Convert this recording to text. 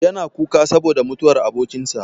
Yana kuka saboda mutuwar abokin sa.